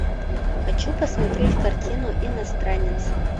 хочу посмотреть картину иностранец